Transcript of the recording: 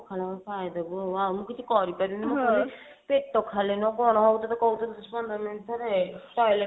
ହଁ ଖାଇଦେବୁ ଆଉ ମୁଁ ଆଉ କିଛି କରି ପାରିବିନି ପେଟ ଖାଲି ନୁହଁ କଣ ହଉଛି ତତେ କହୁଥିଲି ଦଶ ପନ୍ଦର minute ରେ toilet